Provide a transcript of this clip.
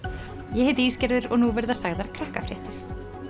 ég heiti og nú verða sagðar